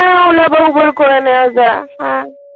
হ্যা ওলা বুক করে নেওয়া যায়।